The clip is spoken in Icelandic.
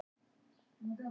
Krista